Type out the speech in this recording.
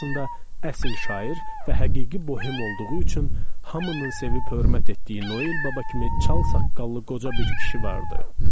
Əsl şair və həqiqi bohem olduğu üçün hamının sevib hörmət etdiyi Noel baba kimi çal saqqallı qoca bir kişi vardı.